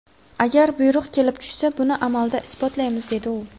Agar buyruq kelib tushsa, buni amalda isbotlaymiz”, dedi u.